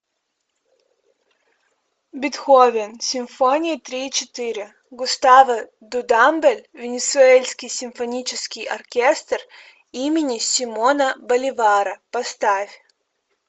бетховен симфония три и четыре густаво дудамель венесуэльский симфонический оркестр имени симона боливара поставь